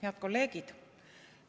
Head kolleegid!